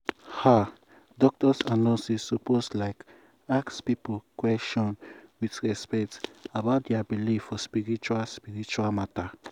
ah! doctors and nurses lsuppose like ask people question with respect about dia believe for spiritual spiritual matter.